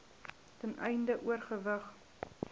ten einde oorweging